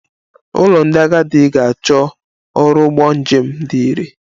Ụlọ ndị agadi ga-achọ ọrụ ụgbọ njem dị irè